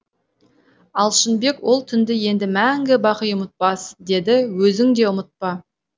алшынбек ол түнді енді мәңгі бақи ұмытпас деді өзің де ұмытпа